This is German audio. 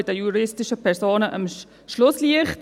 Wir sind bei den juristischen Personen das Schlusslicht.